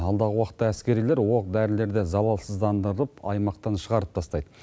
алдағы уақытта әскерилер оқ дәрілерді залалсыздандырып аймақтан шығарып тастайды